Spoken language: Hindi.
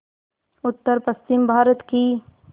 उत्तरपश्चिमी भारत की